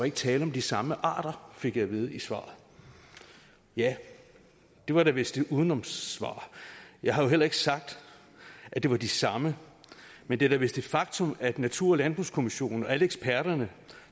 ikke tale om de samme arter fik jeg at vide i svaret ja det var da vist et udenomssvar jeg har jo heller ikke sagt at det var de samme men det er da vist et faktum at natur og landbrugskommissionen og alle eksperterne